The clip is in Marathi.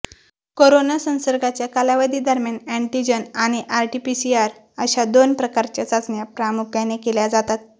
कोरोना संसर्गाच्या कालावधीदरम्यान अँटीजन आणि आरटीपीसीआर अशा दोन प्रकारच्या चाचण्या प्रामुख्याने केल्या जातात